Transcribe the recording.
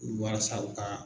U walasa u kaa